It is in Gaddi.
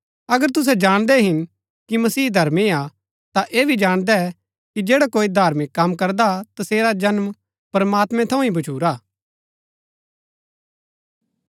अगर तुसै जाणदै हिन कि मसीह धर्मी हा ता ऐह भी जाणदै कि जैडा कोई धार्मिक कम करदा तसेरा जन्म प्रमात्मैं थऊँ ही भच्छुरा